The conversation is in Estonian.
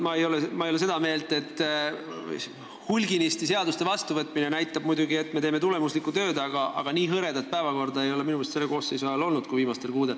Ma ei ole muidugi seda meelt, et hulganisti seaduste vastu võtmine näitaks, et me teeme tulemuslikku tööd, aga nii hõredat päevakorda kui viimastel kuudel ei ole minu meelest selle koosseisu ajal enne olnud.